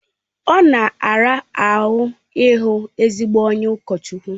Ọ na-ara ahụ ịhụ ezigbo onye ụkọchukwu